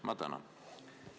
Ma tänan!